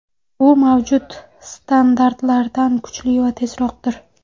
Bu mavjud standartlardan kuchli va tezroqdir.